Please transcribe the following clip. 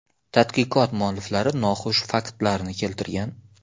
Tadqiqot mualliflari noxush faktlarni keltirgan.